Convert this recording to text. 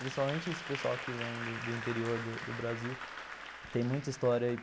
Principalmente esse pessoal que vem do do interior do Brasil, tem muita história aí.